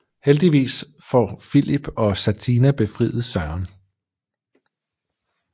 Heldigvis får Filip og Satina befriet Søren